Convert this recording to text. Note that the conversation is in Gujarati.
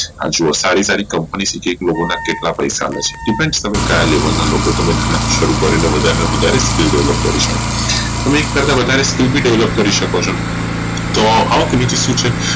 આ જોવો સારી સારી Company લોકો ન કેટલા પૈસા લે છે depend તમે કાયા level ના લોકો શરુ કરીને બધા ને વધારે skill Develop કરી શકો હા એક કરતા વધારે skill પણ develop કરી શકો છો તો શું છે